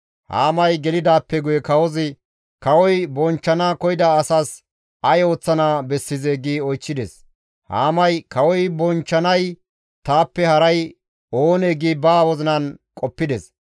Haamay gelidaappe guye kawozi, «Kawoy bonchchana koyida asas ay ooththana bessizee?» gi oychchides. Haamay, «Kawoy bonchchanay taappe haray oonee?» gi ba wozinan qoppides.